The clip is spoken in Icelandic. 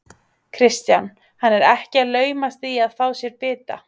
Kristján: Hann er ekki að laumast í að fá sér bita?